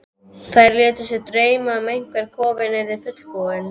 Þær létu sig dreyma um hvernig kofinn yrði fullbúinn.